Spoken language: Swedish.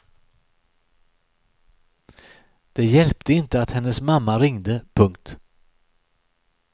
Det hjälpte inte att hennes mamma ringde. punkt